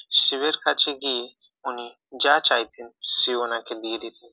শিবের কাছে গিয়ে উনি যা চাইতেন শিব উনাকে দিয়ে দিতেন